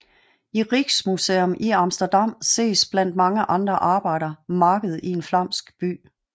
I Rijksmuseum i Amsterdam ses blandt mange andre arbejder Marked i en flamsk by